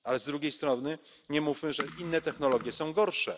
Ale z drugiej strony nie mówmy, że inne technologie są gorsze.